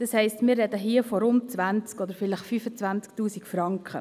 Das heisst, wir sprechen hier von rund 20 000 oder vielleicht 25 000 Franken.